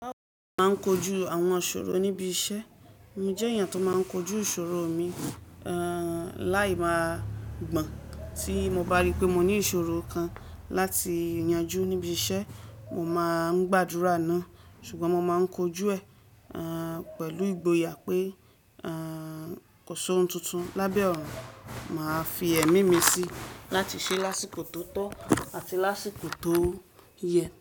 Mo máa ń kojú àwọn ìṣòro níbi iṣẹ́. Mo jẹ́ èèyàn tó máa ń kojú ìṣòro mi. Láì máa gbọ̀n. Tí mo bá rí pé mo ní ìṣòro kan láti yanjú níbi iṣẹ́, mo máa ń gbàdúrà náà. Ṣùgbọ́n mo má ń kojú ẹ̀, pẹ̀lú ìgboyà pé, kó so ohun tuntun. Lábẹ́ ọ̀run, màá fi ẹ́mími síi láti ṣe lásìkò tó tọ́ àti lásìkò tó yẹ.